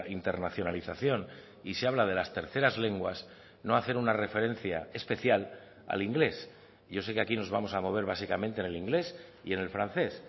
internacionalización y se habla de las terceras lenguas no hacer una referencia especial al inglés yo se que aquí nos vamos a mover básicamente en el inglés y en el francés